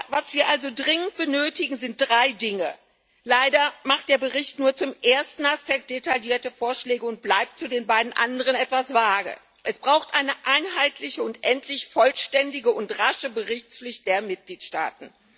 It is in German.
Was wir also dringend benötigen, sind drei Dinge leider macht der Bericht nur zum ersten Aspekt detaillierte Vorschläge und bleibt zu den beiden anderen etwas vage Es braucht eine einheitliche und endlich vollständige und rasche Berichtspflicht der Mitgliedstaaten.